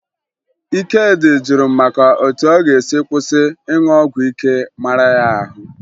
Ikedị jụrụ m maka etu ọ ga-esi kwụsị ịṅụ ọgwụ ike mara ya ahụ